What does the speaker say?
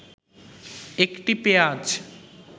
১টি পেঁয়াজ